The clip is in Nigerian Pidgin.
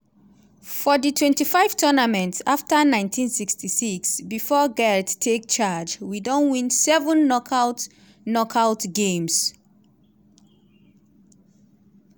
for di twenty five tournaments afta nineteen sixty six bifor garth take charge we don win seven knockout knockout games.